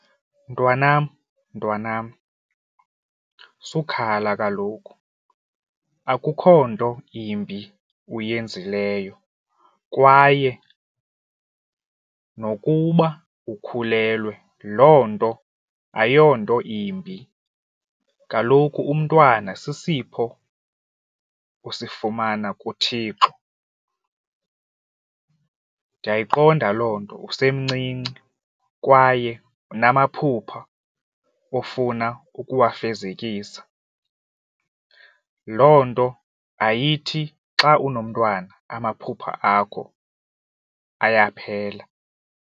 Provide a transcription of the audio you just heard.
Mntwanam, mntwanam, sukhala kaloku, akukho nto imbi uyenzileyo kwaye nokuba ukhulelwe. Loo nto ayonto imbi. Kaloku umntwana sisipho usifumana kuThixo. Ndiyayiqonda loo nto usemncinci kwaye unamaphupha ofuna ukuwafezekisa. Loo nto ayithi xa unomntwana amaphupha akho ayaphela.